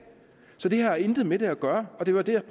så det her har intet med det at gøre og det var det jeg